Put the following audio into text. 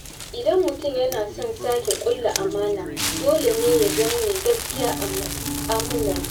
Idan mutum yana son sake ƙulla amana, dole ne ya zama mai gaskiya a mu'amalarsa..